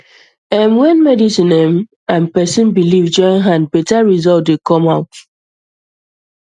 erm when medicine erm and person belief join hand better results dey come out